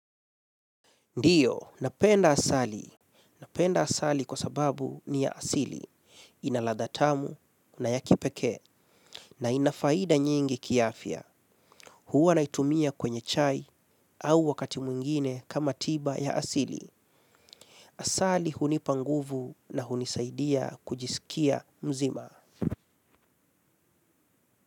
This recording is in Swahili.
Ndiyo, napenda asali. Napenda asali kwa sababu ni ya asili. Ina ladha tamu, na yakipekee, na ina faida nyingi kiafya. Huwa naitumia kwenye chai au wakati mwingine kama tiba ya asili. Asali hunipanguvu na hunisaidia kujisikia mzima.